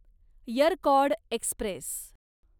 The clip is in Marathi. यरकॉड एक्स्प्रेस